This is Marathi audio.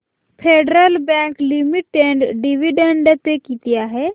federal Bank Limited dividend pay किती आहे